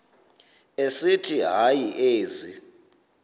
esithi hayi ezi